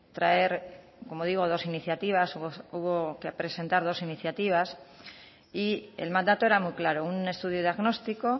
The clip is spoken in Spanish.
traer como digo dos iniciativas hubo que presentar dos iniciativas y el mandato era muy claro un estudio diagnóstico